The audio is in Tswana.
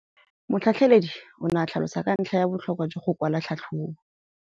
Motlhatlheledi o ne a tlhalosa ka ntlha ya botlhokwa jwa go kwala tlhatlhôbô.